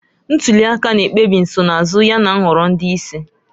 Ntuli aka na-ekpebi nsonaazụ yana nhọrọ ndị isi.